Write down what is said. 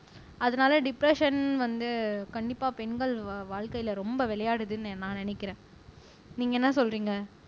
அதனால டிப்ரஸ்ஸன் வந்து கண்டிப்பா பெண்கள் வாழ்க்கையில ரொம்ப விளையாடுதுன்னு நான் நினைக்கிறேன் நீங்க என்ன சொல்றீங்க